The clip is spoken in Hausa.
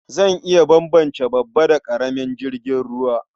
Zan iya bambance babba da ƙaramin jirgin ruwa.